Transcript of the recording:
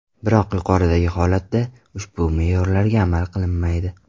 Biroq yuqoridagi holatda, ushbu me’yorlarga amal qilinmaydi.